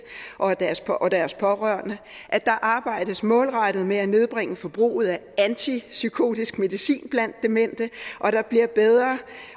og deres og deres pårørende at der arbejdes målrettet med at nedbringe forbruget af antipsykotisk medicin blandt demente